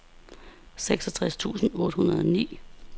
seksogtres tusind otte hundrede og ni